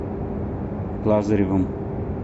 лазаревым